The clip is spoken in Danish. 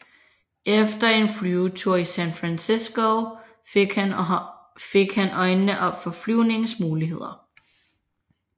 Efter en flyvetur i San Francisco fik han øjnene op for flyvningens muligheder